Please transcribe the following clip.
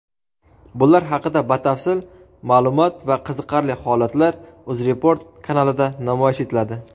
Bular haqida batafsil ma’lumot va qiziqarli holatlar Uzreport kanalida namoyish etiladi.